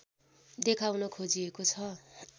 देखाउन खोजिएको छ